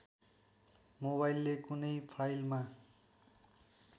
मोबाइले कुनै फाइलमा